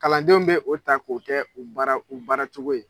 Kalandenw bɛ o ta k'o kɛ u baaracogo ye